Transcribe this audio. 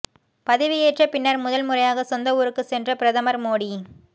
பதவியேற்ற பின்னர் முதல் முறையாக சொந்த ஊருக்கு சென்ற பிரதமர் மோடி